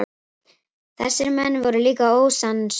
Þessir menn voru líka ósannsöglir.